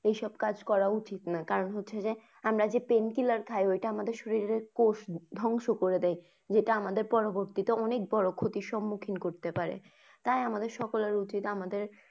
এসব কাজ করা উচিত না কারণ হচ্ছে যে আমরা যে painkiller খাই ওটা আমাদের শরীরের কোষ ধ্বংস করে দেয় যেটা আমাদের পরবর্তিত অনেক বড় ক্ষতির সন্মুখিন করতে পারে। তাই আমাদের সকলের উচিৎ আমাদের।